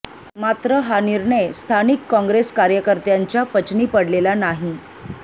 मात्र हा निर्णय स्थानिक काँग्रेस कार्यकर्त्यांच्या पचनी पडलेला नाही